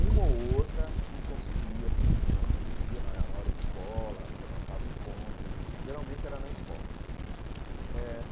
Uma ou outra que conseguia, assim ãh, fugia na na hora de escola, você marcava encontro, geralmente era na escola eh.